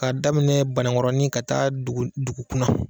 K'a daminɛ Bankɔrɔnin ka taa Dugukunna